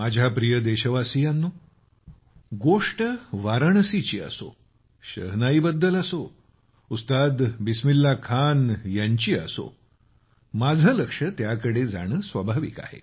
माझ्या प्रिय देशवासियांनो गोष्ट वाराणसीची असो शहनाईबद्दल असो उस्ताद बिस्मिल्ला खान यांच्याबद्दल असो माझे लक्ष त्याकडे जाणे स्वाभाविक आहे